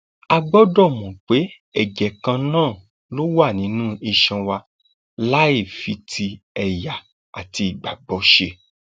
a gbọdọ mọ pé ẹjẹ kan náà ló wà nínú iṣan wa láì fi ti ẹyà àti ìgbàgbọ ṣe